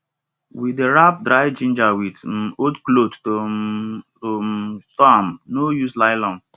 we dey wrap dry ginger with um old cloth to um to um store am no use nylon